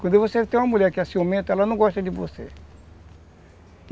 Quando você tem uma mulher que é ciumenta, ela não gosta de você.